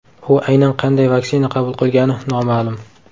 U aynan qanday vaksina qabul qilgani noma’lum.